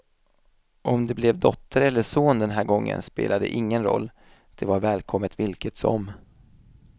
Om det blev dotter eller son den här gången spelade ingen roll, det var välkommet vilket som.